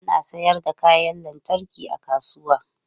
Ana sayar da kayan lantarki a kasuwa.